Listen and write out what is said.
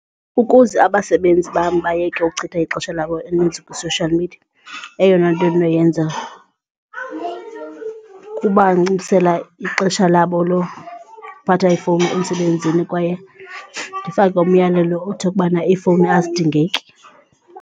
Ukuze abasebenzi bam bayeke ukuchitha ixesha labo elininzi kwi-social media eyona nto endinoyenza kubanciphisela ixesha labo lokuphatha ifowuni emsebenzini kwaye ndifake umyalelo othi ubana iifowuni azidingeki.